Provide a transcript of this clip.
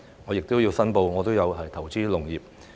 我亦要申報我有投資農業。